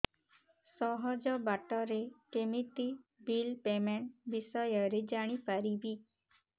ସହଜ ବାଟ ରେ କେମିତି ବିଲ୍ ପେମେଣ୍ଟ ବିଷୟ ରେ ଜାଣି ପାରିବି